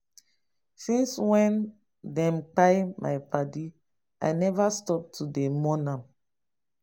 since wey dem kpai my paddy i neva stop to dey mourn am